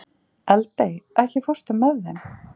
Eldey, ekki fórstu með þeim?